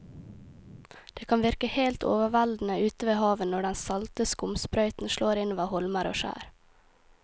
Det kan virke helt overveldende ute ved havet når den salte skumsprøyten slår innover holmer og skjær.